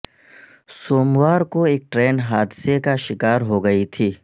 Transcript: سوموار کو ایک ٹرین حادثے کا شکار ہوگئی تھی